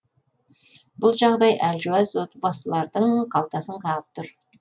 бұл жағдай әлжуаз отбасылардың қалтасын қағып тұр